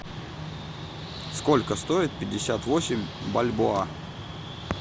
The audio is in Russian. сколько стоит пятьдесят восемь бальбоа